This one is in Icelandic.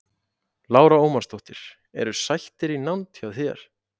Lára Ómarsdóttir: Eru sættir í nánd hjá þér?